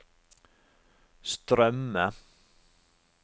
strømme